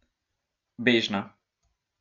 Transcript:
Bežna.